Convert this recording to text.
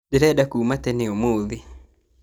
Ndĩrenda kuma tene ũmũthĩ